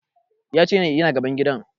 Ya ce yana gaban gidan